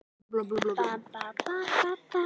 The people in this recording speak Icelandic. Síðan hef ég alltaf þorað að sofa um nætur.